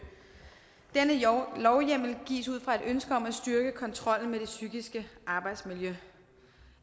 denne lovhjemmel gives ud fra et ønske om at styrke kontrollen med det psykiske arbejdsmiljø